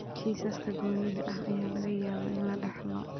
Kiisaska goonida ah ayaa laga yaabaa in la dhaxlo.